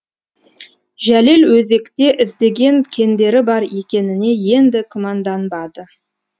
жәлел өзекте іздеген кендері бар екеніне енді күмәнданбады